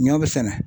Ɲɔ bi sɛnɛ